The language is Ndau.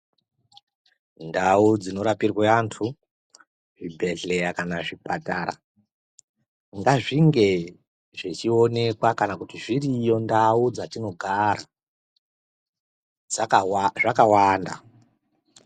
Ndau dzinorapirwa vantu zvibhedhlera kana zvipatara ngazvinge zvichionekwa kana kuti zviriyo mundau dzatinogara zvakawanda.